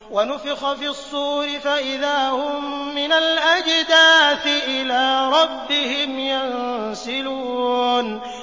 وَنُفِخَ فِي الصُّورِ فَإِذَا هُم مِّنَ الْأَجْدَاثِ إِلَىٰ رَبِّهِمْ يَنسِلُونَ